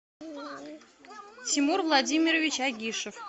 тимур владимирович агишев